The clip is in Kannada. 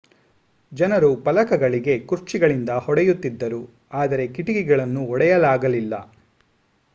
ಜನರು ಫಲಕಗಳಿಗೆ ಕುರ್ಚಿಗಳಿಂದ ಹೊಡೆಯುತ್ತಿದ್ದರು ಆದರೆ ಕಿಟಕಿಗಳನ್ನು ಒಡೆಯಲಾಗಲಿಲ್ಲ